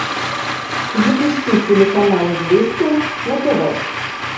запусти телеканал известия на тв